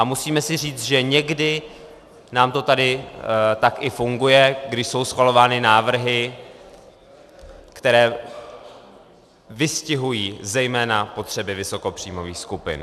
A musíme si říci, že někdy nám to tady tak i funguje, když jsou schvalovány návrhy, které vystihují zejména potřeby vysokopříjmových skupin.